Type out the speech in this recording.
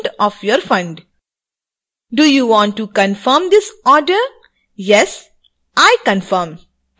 do you want to confirm this order yes i confirm पर click करें